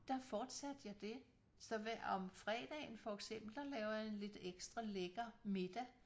Der fortsatte jeg det så hver om fredagen for eksempel der laver jeg en lidt ekstra lækker middag